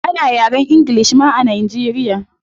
Ana yaren ingilish ma a nigeria